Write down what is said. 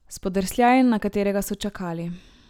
Spodrsljaj, na katerega so čakali.